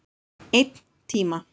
Einn tíma.